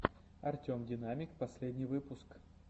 артем динамик последний выпуск